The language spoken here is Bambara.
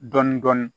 Dɔɔnin dɔɔnin